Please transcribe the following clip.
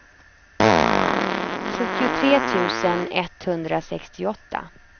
sjuttiotre tusen etthundrasextioåtta